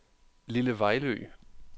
Lille Vejlø